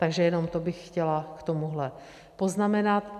Takže jenom to bych chtěla k tomuhle poznamenat.